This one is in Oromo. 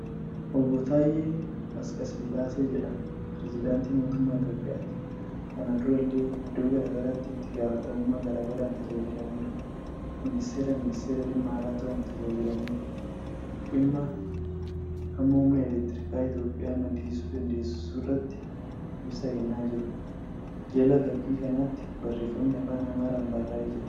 Obbo Taayyee Asqasillaasee jedhama. Pireezidaantii Mootummaa Itiyoophiyaati. Kana durallee Iddoo garaagaraatti itti gaafatamummaa garaagaraan tajaajilaniiru. miniistiira ministeera dhimma alaa ta'uun tajaajilaniiru. Dhimma hamma humna elektrikaa Itiyoophiyaan maddisiisuu dandeessurratti ibsa kennaa jiru. Jala fakkii kanaatti barreefami afaan Amaaraan barrraa'ee jira.